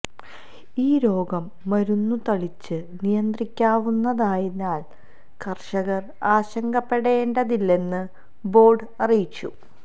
ഈ രോഗം മരുന്നുതളിച്ച് നിയന്ത്രിക്കാവുന്നതായതിനാല് കര്ഷകര് ആശങ്കപ്പെടേണ്ടതില്ലെന്നു ബോര്ഡ് അറിയിച്ചു